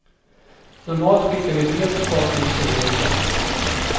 Normalt skickar vi brev till folk när vi säger upp dem.